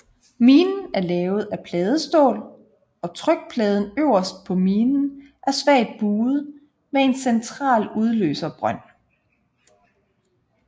Minen er lavet af pladestål og trykpladen øverst på minen er svagt buet med en central udløserbrønd